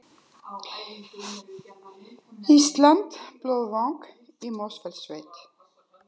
Íslandi, Blómvang í Mosfellssveit.